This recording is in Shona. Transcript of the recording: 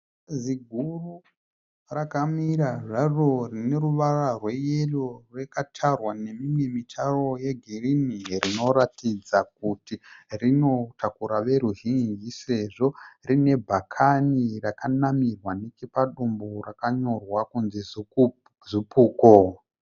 Zibhazi ziguru rakamira zvaro rine ruvara rweyero rakatarwa nemimwe mitaro yegirinhi rinoratidza kuti rinotakura veruzhinji sezvo rine bhakani rakanamirwa nechepadumbu rakanyorwa kunzi "Zupco".